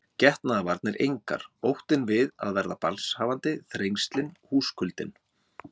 Getnaðarvarnir engar, óttinn við að verða barnshafandi, þrengslin, húskuldinn.